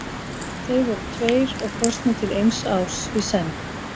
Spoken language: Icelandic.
Þeir voru tveir og kosnir til eins árs í senn.